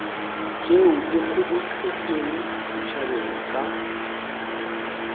tšeo di kgobokeditšwego setšhabeng ka